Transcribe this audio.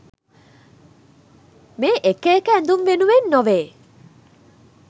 මේ එක එක ඇඳුම් වෙනුවෙන් නොවේ.